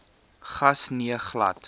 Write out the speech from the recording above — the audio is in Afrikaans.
gas nee glad